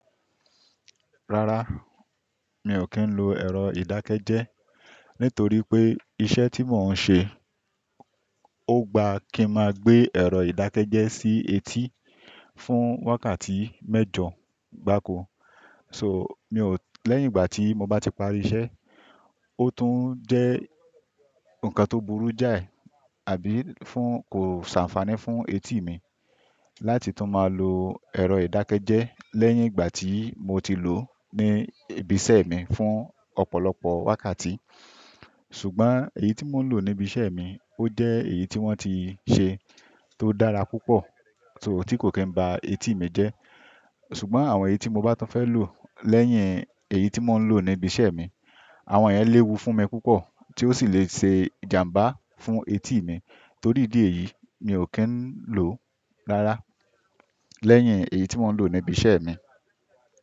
Rárá, mi ò kí ń lo ẹ̀rọ ìdákẹ́jẹ́ nítorí pé iṣẹ́ tí mò ń ṣe ò gba kí máa gbé ẹ̀rọ ìdákẹ́jẹ́ sí etí fún wákàtí mẹ́jọ gbáko. So, mi ò-- lẹ́yìn ìgbà tí mo bá ti parí iṣẹ́, ó tún jẹ́ nǹkan tó burú jáì àbí fún kò ṣàǹfààní fún etí mi láti tún máa lo ẹ̀rọ ìdákẹ́jẹ́ lẹ́yìn ìgbà tí mo ti lò ní ibi iṣẹ́ mi fún ọ̀pọ̀lọpọ̀ wákàtí. Ṣùgbọ́n èyí tí mò ń lò ní ibi iṣẹ́ mi ó jẹ́ èyí tí wọ́n ti ṣe tó dára púpọ̀ so tí kò kí ń ba etí mi jẹ́. Ṣùgbọ́n àwọn èyí tí mo bá tún fẹ́ lò lẹ́yìn èyí tí mò ń lò ní ibi iṣẹ́ mi, àwọn ẹ́ léwu fún mi púpọ̀ tí ó sì le ṣe ìjàmbá fún etí mi. Torí dìí èyí, mi ò kí ń lò ó rárá lẹ́yìn èyí tí mò ń lò ní ibi iṣẹ́ mi.